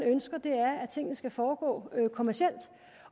ønsker er at tingene skal foregå kommercielt